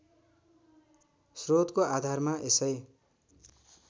श्रोतको आधारमा यसै